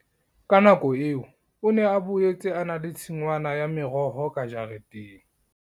Ka nako eo o ne a boetse a na le tshingwana ya meroho ka jareteng.